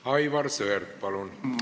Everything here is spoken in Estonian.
Aivar Sõerd, palun!